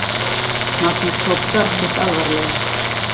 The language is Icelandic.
Magnús tók starf sitt alvarlega.